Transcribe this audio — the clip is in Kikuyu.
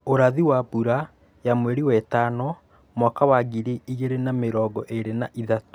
Ũrathi wa Mbura ya mweri we tano mwaka wa ngiri igĩrĩ na mĩrongo ĩrĩ na ithatũ